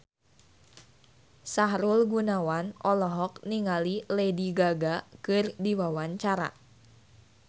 Sahrul Gunawan olohok ningali Lady Gaga keur diwawancara